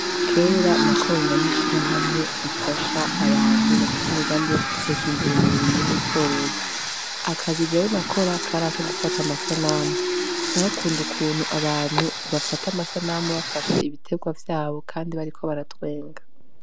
Kera nakorana n' ishirahamwe rifasha abantu bafise imigambi yo kwiteza imbere mu burimyi n' ubworozi, akazi jewe nakora kari ako gufata abantu amasanamu narakunda ukuntu abantu bafata amasanamu bafashe ibitegwa vyabo kandi bariko baratwenga.